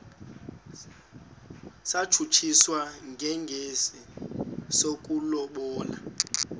satshutshiswa njengesi sokulobola